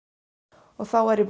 og þá er ég